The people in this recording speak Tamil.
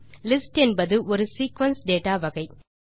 லிஸ்ட் என்பது ஒரு சீக்வென்ஸ் டேட்டா வகை